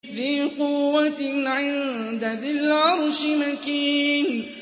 ذِي قُوَّةٍ عِندَ ذِي الْعَرْشِ مَكِينٍ